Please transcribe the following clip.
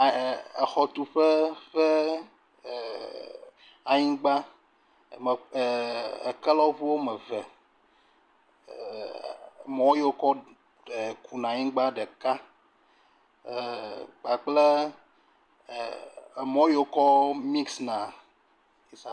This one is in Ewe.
ɛɛ, exɔtuƒe ƒe ɛɛɛɛ anyigba. Me ɛɛɛɛ ekelɔŋu wome ve ɛɛ mɔ yi wokɔ ɛɛɛ kuna anyigba ɖeka ɛɛ kpakple ɛɛɛ emɔ yi wokɔ miks na.